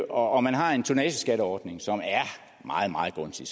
og og man har en tonnageskatteordning som er meget gunstig